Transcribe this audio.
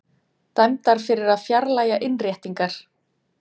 Dæmdar fyrir að fjarlægja innréttingar